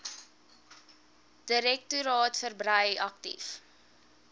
direktoraat verbrei aktief